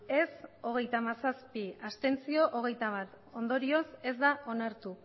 ez hogeita hamazazpi abstentzioak hogeita bat ondorioz ez da onartu